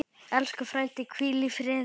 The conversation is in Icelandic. Elsku frændi, hvíl í friði.